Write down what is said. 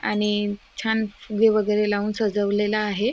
आणि छान फुगे वगैरे लावून सजवलेला आहे.